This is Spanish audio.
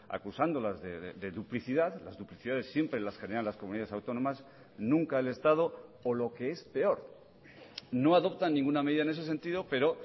acusándolas de duplicidad las duplicidades siempre las generan las comunidades autónomas nunca el estado o lo que es peor no adoptan ninguna medida en ese sentido pero